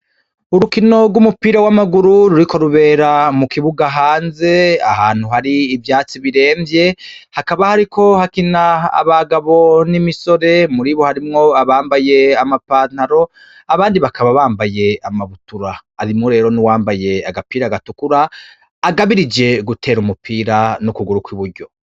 Urukino rw'umupira w'amaguru ruriko rubera ku kibuga hanze, ahantu hari ivyatsi biremvye, hakaba hariko harakina abagabo n'imisore. Muri bo harimwo abambaye amapantaro, abandi bakaba bambaye amabutura. Harimwo rero n'uwambaye agapira gatukura, agabirije gutera umupira n'ukuguru kw'ukuryo.